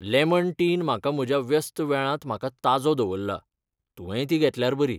Lemon tea न म्हाका म्हज्या व्यस्त वेळांत म्हाका ताजो दवरला, तुवेंय ती घेतल्यार बरी.